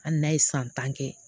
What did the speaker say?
Hali n'a ye san tan kɛ